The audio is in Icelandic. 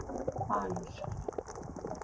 Falur